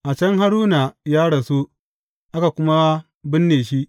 A can Haruna ya rasu, aka kuma binne shi.